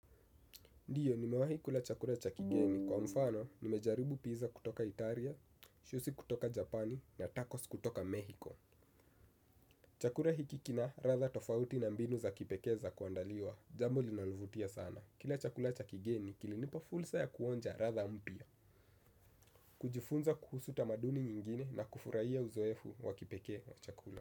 Ndio, nimewahi kula chakula cha kigeni. Kwa mfano, nimejaribu pizza kutoka Italia, shusi kutoka Japani na tacos kutoka Mexico. Chakula hiki kina ladha tofauti na mbinu za kipekee za kuandaliwa. Jambo linalovutia sana. Kila chakula cha kigeni, kilinipa fursa ya kuonja ladha mpya. Kujifunza kuhusu tamaduni nyingine na kufurahia uzoefu wa kipekee wa chakula.